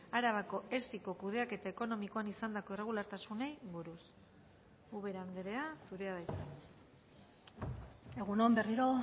arabako esiko kudeaketa ekonomikoan izandako irregulartasunei buruz ubera andrea zurea da hitza egun on berriro